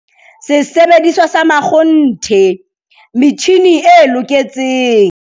Sesebediswa sa makgonthe - metjhine e loketseng.